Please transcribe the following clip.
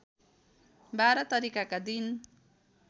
१२ तारिकका दिन